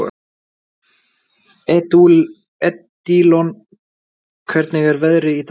Edílon, hvernig er veðrið í dag?